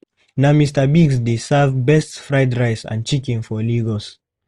Na Mr. Biggs dey serve best fried rice and chicken for Lagos.